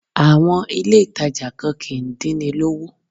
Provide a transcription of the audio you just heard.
Àwọn ilé ìtàjà kan kìí dín ni lówó.